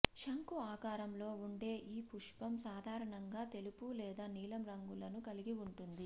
శంఖు ఆకారంలో ఉండే ఈ పుష్పం సాధారణంగా తెలుపు లేదా నీలం రంగులను కలిగి ఉంటుంది